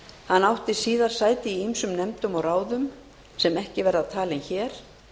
hann átti síðar sæti í ýmsum nefndum og ráðum sem ekki verða talin hér